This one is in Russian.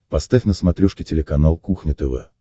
поставь на смотрешке телеканал кухня тв